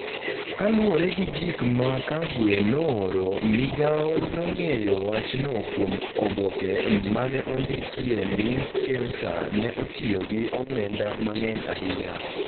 Kaluwore gi gik ma Kagwe nooro, migao nong’eyo wachno kuom oboke ma ne ondikie ni Kemsa ne otiyo gi omenda mang’eny ahinya.